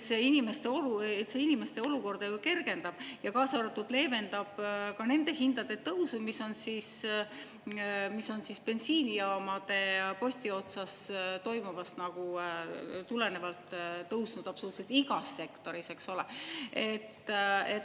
See inimeste olukorda ju kergendab, kaasa arvatud leevendab ka nende hindade tõusu, mis on bensiinijaamade posti otsas toimuvast nagu tulenevalt tõusnud absoluutselt igas sektoris, eks ole.